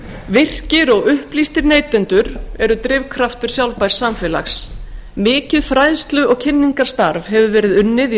virkir og upplýstir neytendur eru drifkraftur sjálfbærs samfélags mikið fræðslu og kynningarstarf hefur verið unnið í